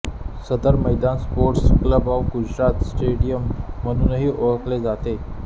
सदर Maidan sports club of Gujarat stadium म्हणूनही ओळखले जाते